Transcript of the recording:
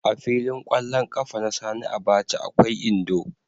A filin ƙwallon ƙafa na Sani Abacha akwai Indo.